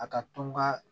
A ka to n ka